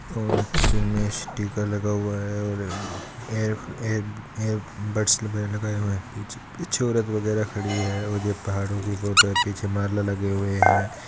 और टीका लगा हुआ है और ईयर ईयर ईयर बड्स बगेरा लगाये हुवे है पीछे औरत बगेरा खड़ी है और पहाड़ो कि फोटो है पीछे माला लगे हुए है।